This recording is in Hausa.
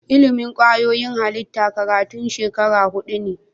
Ilimin kwayoyin halitta karatun shekara hudu ne